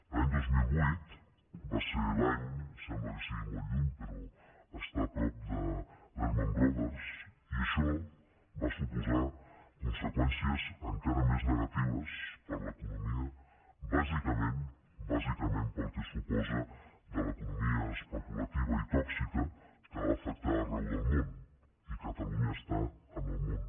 l’any dos mil vuit va ser l’any sembla que sigui molt lluny però està a prop de lehman brothers i això va suposar conseqüències encara més negatives per a l’economia bàsicament bàsicament pel que suposa de l’economia especulativa i tòxica que va afectar arreu del món i catalunya està en el món